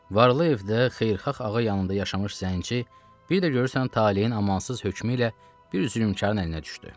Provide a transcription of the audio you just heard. varlı evdə xeyirxah ağa yanında yaşamış zənci, bir də görürsən taleyin amansız hökmü ilə bir zülmkarın əlinə düşdü.